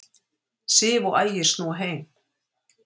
Sif og Ægir snúa heim